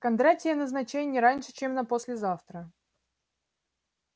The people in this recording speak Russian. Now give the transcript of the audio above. кондратия назначай не раньше чем на послезавтра